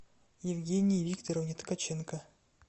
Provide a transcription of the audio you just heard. евгении викторовне ткаченко